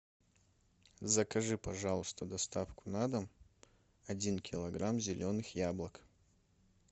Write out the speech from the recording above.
закажи пожалуйста доставку на дом один килограмм зеленых яблок